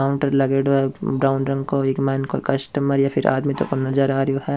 Counter लागेडो है brown रंग को इंग माइन कोई कस्टमर या फिर आदमी नजर आ रहो है।